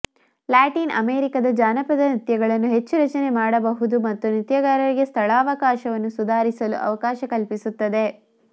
Latin ಅಮೆರಿಕಾದ ಜಾನಪದ ನೃತ್ಯಗಳನ್ನು ಹೆಚ್ಚು ರಚನೆ ಮಾಡಬಹುದು ಮತ್ತು ನೃತ್ಯಗಾರರಿಗೆ ಸ್ಥಳಾವಕಾಶವನ್ನು ಸುಧಾರಿಸಲು ಅವಕಾಶ ಕಲ್ಪಿಸುತ್ತದೆ